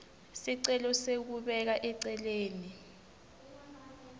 sicelo sekubeka eceleni